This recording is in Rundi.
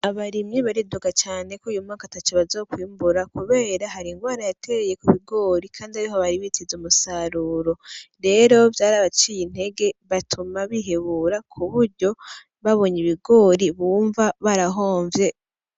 Abarimyi bariduga caneko uyu mwaka atacu bazokwiyumbura, kubera hari ingwara yatereye ku bigori, kandi abiho baribitiza umusaruro rero vyari abaciye intege batuma bihebura kuburyo babonye ibigori bumva barahomvye.